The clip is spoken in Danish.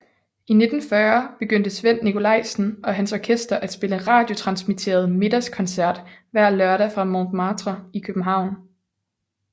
I 1940 begyndte Svend Nicolaisen og hans orkester at spille radiotransmitteret middagskoncert hver lørdag fra Montmartre i København